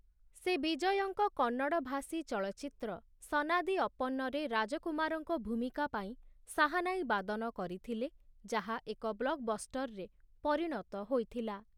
ସେ ବିଜୟଙ୍କ କନ୍ନଡ଼ ଭାଷୀ ଚଳଚ୍ଚିତ୍ର 'ସନାଦି ଅପ୍ପଣ୍ଣ'ରେ ରାଜକୁମାରଙ୍କ ଭୂମିକା ପାଇଁ ଶାହାନାଈ ବାଦନ କରିଥିଲେ ଯାହା ଏକ ବ୍ଲକ୍‍ବଷ୍ଟର୍‍‍ରେ ପରିଣତ ହୋଇଥିଲା ।